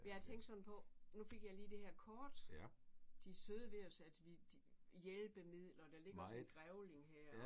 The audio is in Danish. Men jeg tænkte sådan på nu fik jeg lige det her kort. De er søde ved os at vi de ved hjælpemidler der ligger også en grævling her